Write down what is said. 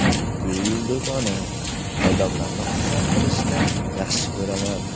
Gul do‘koni Odamlarni xursand qilishni yaxshi ko‘raman.